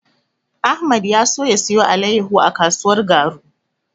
Ahmad ya so ya siyo alaiyahu a kasuwar Garu.